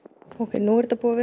nú er þetta búið að vera